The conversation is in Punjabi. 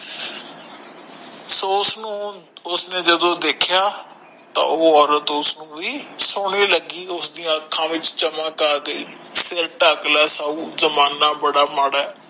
ਸੋ ਉਸਨੂੰ ਉਸਨੇ ਜਦੋ ਦੇਖਯਾ ਤੋਂ ਓ ਔਰਤ ਉਸਨੂੰ ਵੀ ਸਹੋਣੀ ਲਗੀ ਉਸਦੀ ਦੀ ਅੰਖਆ ਵਿਚ ਚਮਕ ਆਗਯੀ ਸਿਰ ਠ੍ਕ ਲੈ ਸਾਊ ਜਮਾਨਾ ਬੜਾ ਮਾੜਾ ਹੈ